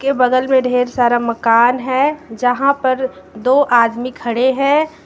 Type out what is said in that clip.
बगल में ढेर सारा मकान है जहां पर दो आदमी खड़े हैं।